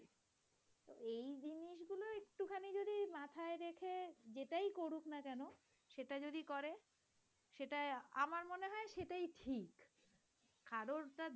যেটাই করুক না কেন সেটা যদি করে সেটা আমার মনে হয় সেটাই ঠিক। কারর